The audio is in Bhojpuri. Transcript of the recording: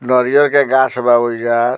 नरियर के गाछ बा ओइजा।